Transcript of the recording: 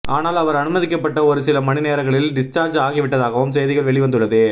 ஆனால் அவர் அனுமதிக்கப்பட்ட ஒருசில மணி நேரங்களில் டிஸ்சார்ஜ் ஆகிவிட்டதாகவும் செய்திகள் வெளிவந்துள்ளது